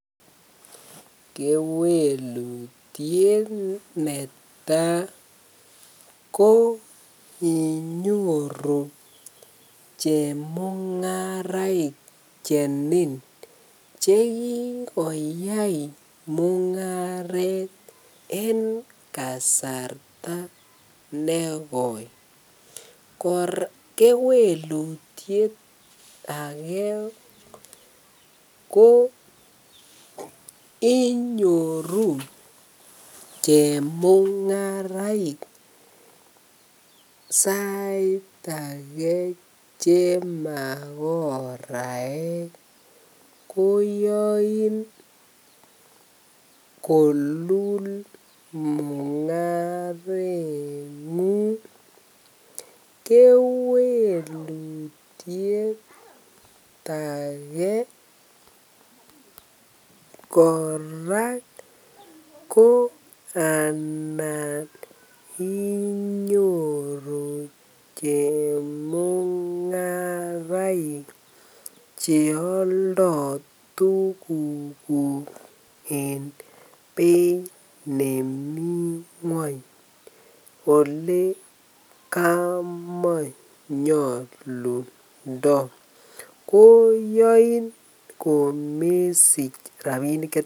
Kewelutiet netaa koinyoru chemungaraik chenin chekikoyai mungaret en kasartanekoi, kewelutiet akee ko inyoru chemungaraik sait akee chemakoraek koyoin kolul mungarengung, kewelutiet akee kora ko anan inyoru chemungaraik cheoldo tukukuk en beit nemii ngweny olee kamanyolundo, koyoin komesich rabinik.